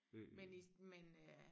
Men i men øh